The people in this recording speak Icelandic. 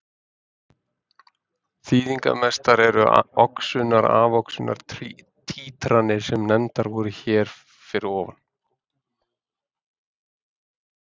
Þýðingarmestar eru oxunar-afoxunar títranir sem nefndar voru hér fyrir ofan.